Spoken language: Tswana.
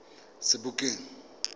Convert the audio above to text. sebokeng